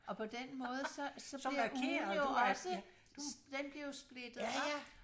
Og på den måde så så bliver ugen jo også den bliver jo splittet op